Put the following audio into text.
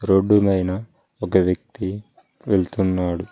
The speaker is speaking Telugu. రోడ్డు నైన ఒక వ్యక్తి వెళ్తున్నాడు.